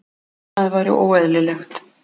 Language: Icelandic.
Annað væri óeðlilegt.